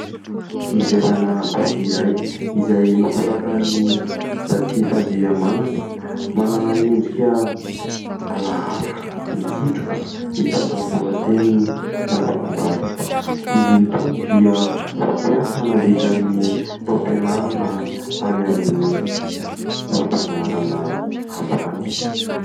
Ivelana boky iray izay nosoratan'i Ratsifandrihamanana : manana endrika alaala mikitroka mitondra ny lohateny ''Lavokombarika'' , izy itony dia fampiasa nandritra ny taom-pianarana tany amin'ny fampianarana ambany.